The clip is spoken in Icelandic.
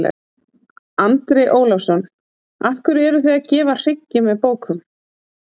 Andri Ólafsson: Af hverju eruð þið að gefa hryggi með bókum?